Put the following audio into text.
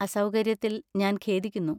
അസൗകര്യത്തിൽ ഞാൻ ഖേദിക്കുന്നു.